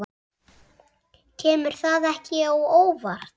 Kemur það ekki á óvart.